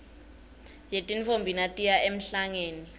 yetintfombi natiya emhlangeni